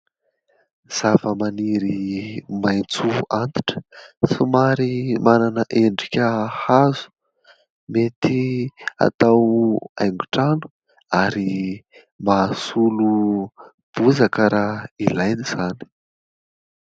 Zava-maniry maintso antitra. Somary manana endrika hazo. Mety atao haingo-trano ary mahasolo bozaka raha ilaina izany.